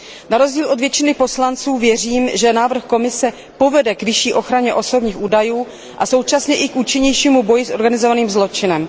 Na rozdíl od většiny poslanců věřím, že návrh Komise povede k vyšší ochraně osobních údajů a současně i k účinnějšímu boji s organizovaným zločinem.